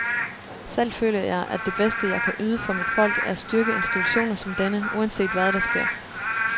Selv føler jeg, at det bedste, jeg kan yde for mit folk er at styrke institutioner som denne, uanset hvad der sker.